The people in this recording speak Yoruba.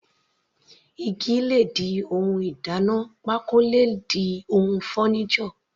Igi le di ohun ìdáná, pákó le di ohun furniture.